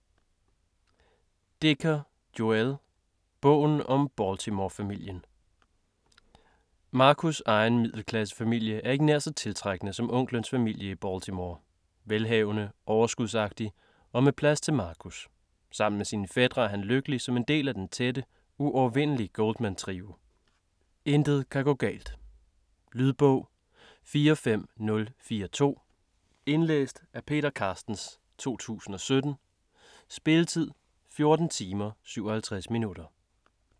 Dicker, Joël: Bogen om Baltimore-familien Marcus' egen middelklassefamilie er ikke nær så tiltrækkende som onklens familie i Baltimore - velhavende, overskudsagtig og med plads til Marcus. Sammen med sine fætre er han lykkelig som en del af den tætte, uovervindelige Goldman-trio. Intet kan gå galt. Lydbog 45042 Indlæst af Peter Carstens, 2017. Spilletid: 14 timer, 57 minutter.